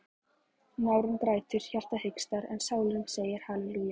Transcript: Nárinn grætur, hjartað hikstar en sálin segir halelúja.